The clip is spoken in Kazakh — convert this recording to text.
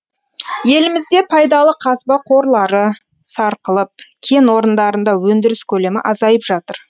елімізде пайдалы қазба қорлары сарқылып кен орындарында өндіріс көлемі азайып жатыр